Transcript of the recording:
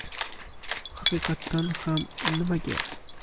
Haqiqatdan ham nimaga?